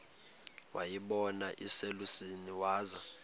wayibona iselusizini waza